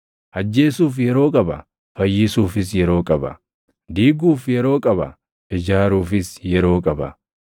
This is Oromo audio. ajjeesuuf yeroo qaba; fayyisuufis yeroo qaba; diiguuf yeroo qaba; ijaaruufis yeroo qaba;